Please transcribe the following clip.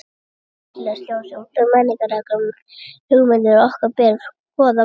Í þessu samfélagslega ljósi og út frá menningarlegum hugmyndum okkar ber að skoða vændi.